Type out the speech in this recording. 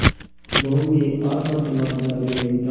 बहू में आत्म सम्मान जरा भी नहीं था